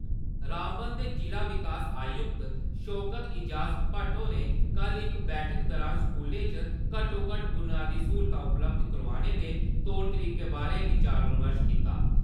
रामबन दे जिला विकास आयुक्त शौकत एजाज़ भट्ट होरें कल इक बैठक दौरान स्कूलें च घट्टो–घट्ट बुनियादी स्हूलतां उपलब्ध करोआने दे तौर तरीके बारै विचार विमर्श कीता।